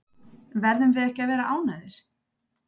Verðum við ekki að vera ánægðir?